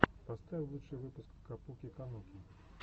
поставь лучший выпуск капуки кануки